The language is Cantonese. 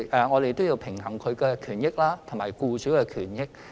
我們要平衡外傭與僱主兩者的權益。